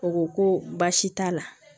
O ko ko baasi t'a la